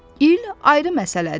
İl ayrı məsələdir.